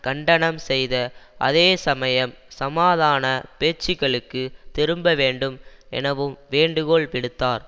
கண்டனம் செய்த அதே சமயம் சமாதான பேச்சுக்களுக்குத் திரும்ப வேண்டும் எனவும் வேண்டுகோள் விடுத்தார்